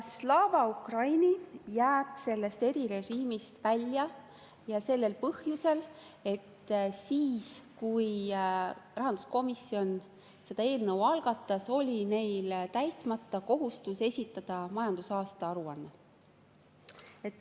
Slava Ukraini jääb sellest erirežiimist välja, ja seda põhjusel, et siis, kui rahanduskomisjon selle eelnõu algatas, oli neil täitmata kohustus esitada majandusaasta aruanne.